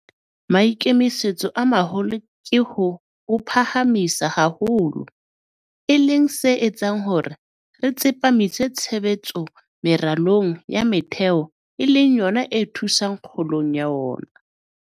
Maikemisetso a maholo ke ho o phahamisa haholo, e leng se etsang hore re tsepamise tshebetso meralong ya metheo e leng yona e thusang kgolong ya ona.